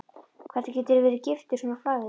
Hvernig geturðu verið giftur svona flagði?